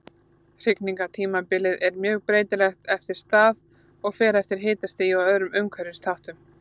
Hrygningartímabilið er mjög breytilegt eftir stað og fer eftir hitastigi og öðrum umhverfisþáttum.